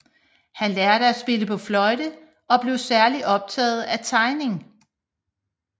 Han lærte at spille på fløjte og blev særligt optaget af tegning